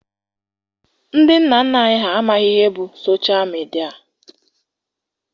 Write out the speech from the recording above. Ndị nna nna anyị ha amaghị ihe bụ soshal midia.